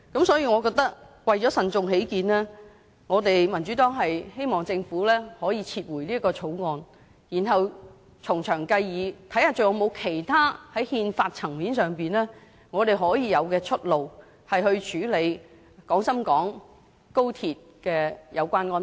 所以，為慎重起見，我們民主黨希望政府撤回《條例草案》，然後從長計議，看看在憲法層面上，我們有甚麼出路可處理有關廣深港高鐵的安排。